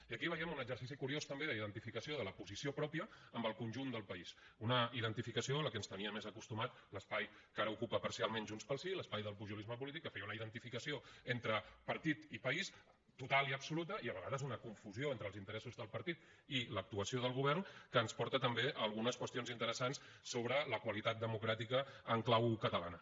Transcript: i aquí veiem un exercici curiós també d’identificació de la posició pròpia amb el conjunt del país una identificació a la que ens tenia més acostumat l’espai que ara ocupa parcialment junts pel sí l’espai del pujolisme polític que feia una identificació entre partit i país total i absoluta i a vegades una confusió entre els interessos del partit i l’actuació del govern que ens porta també a algunes qüestions interessants sobre la qualitat democràtica en clau catalana